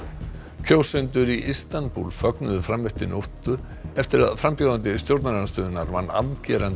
kjósendur í Istanbúl fögnuðu fram eftir nóttu eftir að frambjóðandi stjórnarandstöðunnar vann afgerandi